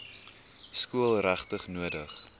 skool regtig nodig